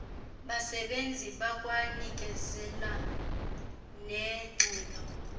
basebenzi bakwanikezela nengxelo